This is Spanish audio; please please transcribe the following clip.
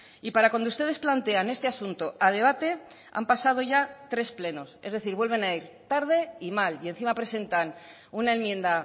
y para cuando ustedes plantean este asunto a debate han pasado ya tres plenos es decir vuelven a ir tarde y mal y encima presentan una enmienda